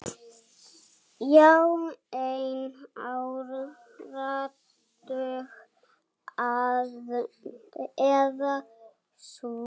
Í einn áratug eða svo.